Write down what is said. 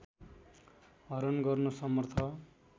हरण गर्न समर्थ